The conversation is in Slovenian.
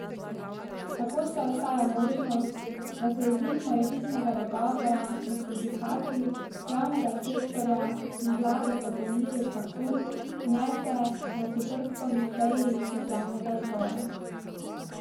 Tako še ostaja možnost, da se izid morebitnega dogovora med sindikati javnega sektorja in vlado z dopolnili v zakon vnese na četrtkovi seji državnega zbora.